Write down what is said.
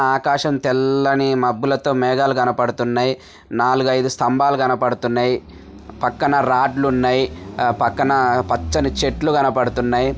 ఆకాశం తెల్ల-ల్లని మబ్బులతో మేగాలు కనబడుతున్నాయి. నాలుగు అయిదు స్తంబాలు కనబడుతున్నాయి. పక్కన రాడ్లు ఉన్నాయి పక్కన పచ్చటి చెట్లు కనబడుతున్నాయి.